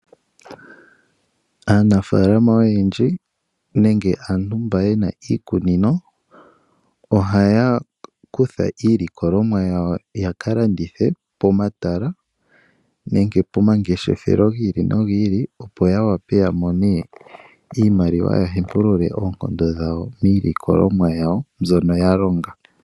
Aanafalama oyendji nenge aantu mba yena iikunino, ohaya kutha iilikolomwa yawo ya kalandithe pomatala nenge pomangeshefelo giili nogiili opo ya wape yamone iimaliwa ya hepulule oonkondo dhawo miilikolomwa yawo nzono ya longa.